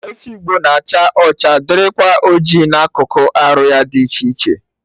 Efi Igbo na-acha ọcha dịrịkwa oji na akụkụ arụ ya dị iche iche